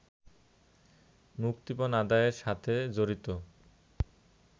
মুক্তিপণ আদায়ের সাথে জড়িত